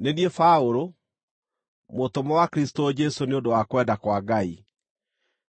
Nĩ niĩ Paũlũ, mũtũmwo wa Kristũ Jesũ nĩ ũndũ wa kwenda kwa Ngai,